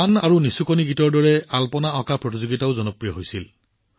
গান আৰু নিচুকনি গীতৰ দৰে ৰংগোলী প্ৰতিযোগিতাও যথেষ্ট জনপ্ৰিয় হৈ পৰিছিল